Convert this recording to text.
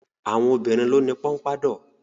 Àwọn obìnrin ló ni pọnpádọ̀.